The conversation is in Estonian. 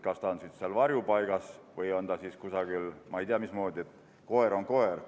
Kas ta on varjupaigas või on ta kusagil mujal, koer on koer.